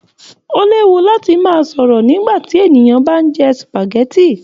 O léwu láti máa sọ̀rọ̀ nígbàtí ènìyàn bá n jẹ supágẹ̀tì.